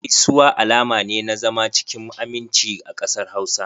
Gaisuwa alama ne na zama cikin aminci a kasar Hausa.